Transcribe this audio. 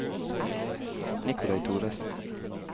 Nikolai Thoresen